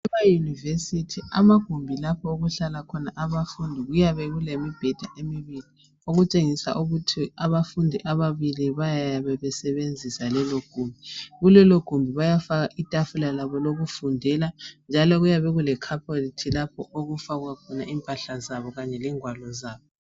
Ema University lapho okuhlala khona abafundi kuyabe kulemibheda emibili okutshengisa ukuthi abafundi ababili bayabe besebenzisa lelogumbi kulelogumbi bayafaka itafula labo lokundela njalo kuyabe kulecarpet lapho okufakwa khona impahla zabo kahle lengwalo zabo